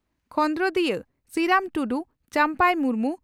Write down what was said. ᱠᱷᱚᱸᱫᱨᱚᱫᱤᱭᱟᱹ ᱥᱤᱨᱟᱢ ᱴᱩᱰᱩ ᱪᱟᱢᱯᱟᱭ ᱢᱩᱨᱢᱩ